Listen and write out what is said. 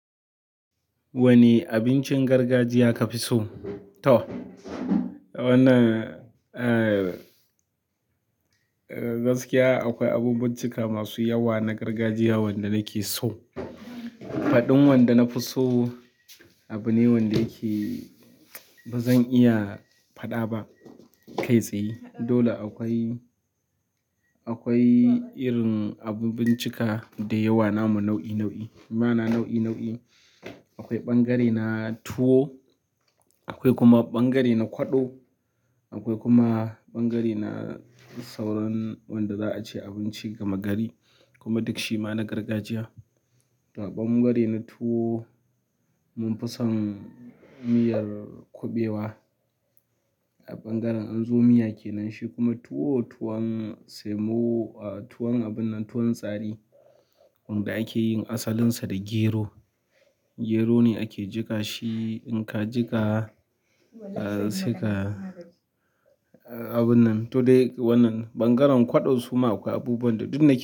Wane abincin gargajiya ka fi so? To, wannan, eh gaskiya akwai abubuncika masu yawa na gargajiya wanda nake so. Faɗin wanda na fi so abu ne wanda yake ba zan iya faɗa ba kai tsaye. Dole akwai irin abubuncika dayawa namu nau'i nau'i ma'ana nau'i nau'i. Akwai ɓangare na tuwo' akwai kuma ɓangare na kwaɗo, akwai kuma ɓangare na sauran wanda za a ce a binci gama gari kuma duk shima na gargajiya. Da ɓangare na tuwo mun fi son miyar kuɓewa. Ta bangaren anzo miya kenan shikuma tuwo tuwon semo ah tuwon abunnan tuwon gari wanda ake yin asalinsa da gero. Gero ne ake jiƙa shi in ka jiƙa sai ka abunnan to dai wannan ɓangaren kwaɗo suma akwai abubuwan da duk na ki.